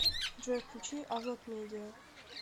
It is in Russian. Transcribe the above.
джой включи авлод медиа